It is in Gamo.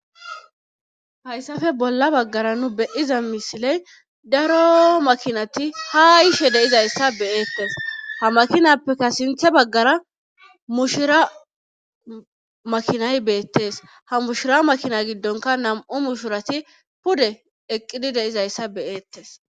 Hayssafe bolla baggara nu beyiza misiley daro makinati ha ishe deizayssa beeettes ha makinappeka sinthe baggara mushira makinay beettes ha mushira makina giddonka nam7u mushirati pude eqqidi deizayssa beyeettes.